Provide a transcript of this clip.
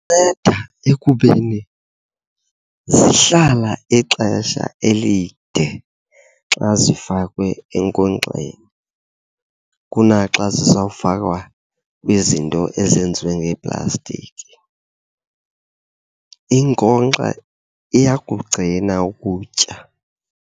Inceda ekubeni zihlala ixesha elide xa zifakwe enkonkxeni kunaxa xa zizawufakwa kwizinto ezenziwe ngeeplastiki. Inkonkxa iyakugcina ukutya.